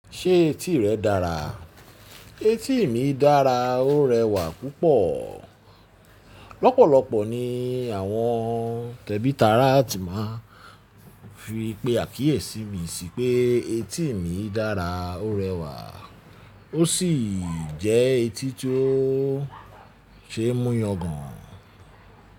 Ṣé etí rẹ dára? Etí mi dára ó rẹwà púpọ̀. Lọ́pọ̀lọ́pọ̀ ni àwọn tẹ̀bítàrá ti máa ń fi pé àkíyèsí mi sí pé etí mi dára ó rẹwà ó sì jẹ́ etí tó ṣe é mú yangàn.